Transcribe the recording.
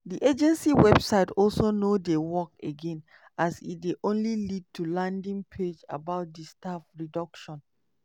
di agency website also no dey work again as e dey only lead to landing page about di staff reduction.